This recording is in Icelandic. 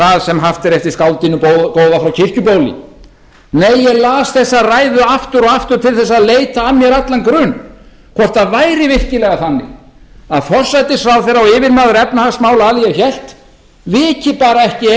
það sem haft er eftir skáldinu góða frá kirkjubóli nei ég las þessa ræðu aftur og aftur til þess að leita af mér allan grun hvort það væri virkilega þannig að forsætisráðherra og yfirmaður efnahagsmála að ég hélt viki bara ekki